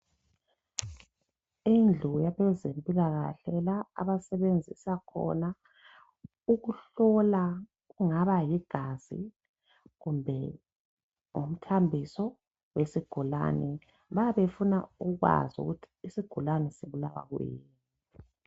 Indlu yabezempilakahle la abasebenzisa khona ukuhlola okungaba ligazi kumbe ngumthambiso wesigulane. Bayabe befuna ukwazi ukuthi isigulane sibulawa kuyini.